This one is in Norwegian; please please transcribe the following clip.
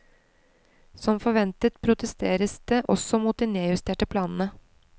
Som forventet protesteres det også mot de nedjusterte planene.